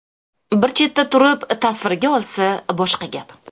Bir chetda turib tasvirga olsa boshqa gap.